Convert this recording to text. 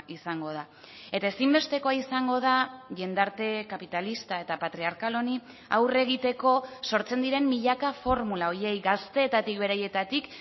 izango da eta ezinbestekoa izango da jendarte kapitalista eta patriarkal honi aurre egiteko sortzen diren milaka formula horiei gazteetatik beraietatik